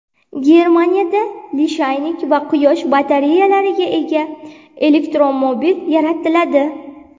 Germaniyada lishaynik va quyosh batareyalariga ega elektromobil yaratiladi.